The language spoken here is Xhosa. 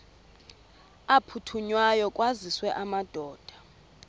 aphuthunywayo kwaziswe amadoda